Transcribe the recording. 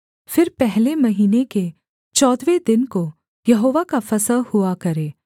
फिर पहले महीने के चौदहवें दिन को यहोवा का फसह हुआ करे